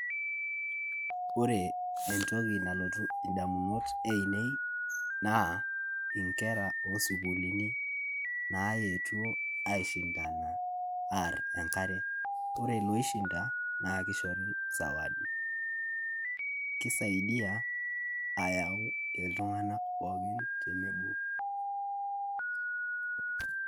Ore entoki nalotu idamunot ainei naa inkera oo sukulini naetuo aii shindana aar enkare. Ore loishinda naa kishori sawadi. Kisaidia ayau iltung'ana pookin tenebo.